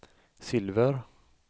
silver